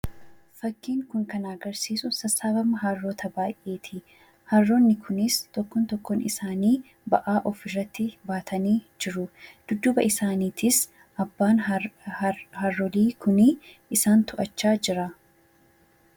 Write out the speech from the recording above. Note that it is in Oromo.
Fakkiin kun kan agarsiisu sassaabama harroota baay'eeti. Harroonni kunis tokkoon tokkoon isaanii ba'aa ofirratti baatanii jiru. Dudduuba isaaniitiis abbaan harroolii kunii isaan to'achaa jira.